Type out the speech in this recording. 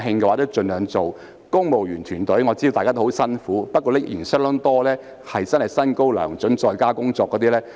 我知道公務員團隊都很辛苦，但仍有不少薪高糧準、在家工作的公務員。